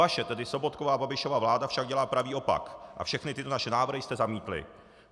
Vaše, tedy Sobotkova a Babišova vláda, však dělá pravý opak a všechny tyto naše návrhy jste zamítli.